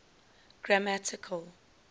grammatical